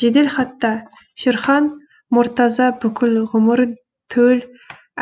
жеделхатта шерхан мұртаза бүкіл ғұмырын төл